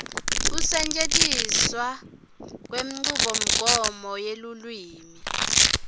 kusetjentiswa kwenchubomgomo yelulwimi